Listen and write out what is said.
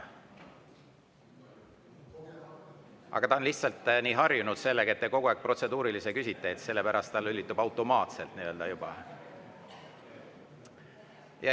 See on lihtsalt nii harjunud sellega, et te kogu aeg protseduurilisi küsite, sellepärast see lülitub juba automaatselt selle peale.